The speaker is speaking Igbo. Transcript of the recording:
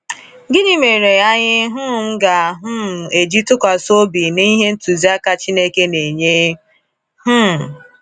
Gịnị mere anyị um ga um eji tụkwasị obi n’ihe ntụziaka Chineke na-enye? um